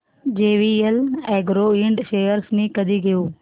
JVL agro ind shares मी कधी घेऊ